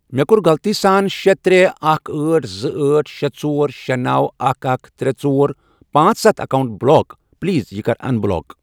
مےٚ کوٚر غلطی سان شے، ترے، اکھَ، أٹھ، زٕ، أٹھ، شے، ژور، شے، نوَ، اکھَ، اکھَ، ترے، ژور، پانژھ، ستھَ، اکاونٹ بلاک پلیز یہِ کَر اَن بلاک۔